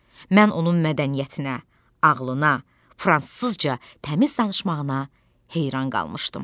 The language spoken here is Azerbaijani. Mən onun mədəniyyətinə, ağlına, fransızca təmiz danışmağına heyran qalmışdım.